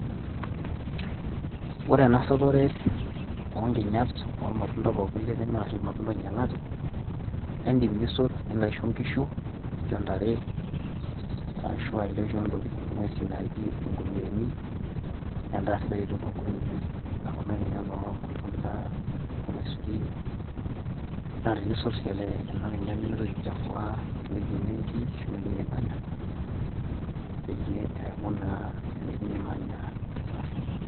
ore ena sotore oonkinyat pookin nitimira aashu irmatunda oing'ialate, naa idim nisot, nilo aisho nkishu ashu ntare, ashu ilo aisho ng'uesin naaji inkurueni. edaa sidai oleng too nkurueni, naijo kuna kinyat oormatunda, ormasurin, naa tenisot sii kuna kinyat nimintoki, aichafua ewueji nitii ashu ewueji nimanya. neeku naa ewueji nimanya safi.